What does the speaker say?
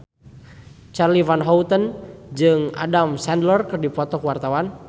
Charly Van Houten jeung Adam Sandler keur dipoto ku wartawan